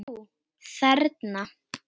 Ó: Þerna?